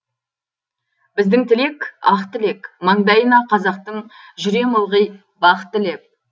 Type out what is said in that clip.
біздің тілек ақ тілек маңдайына қазақтың жүрем ылғи бақ тілеп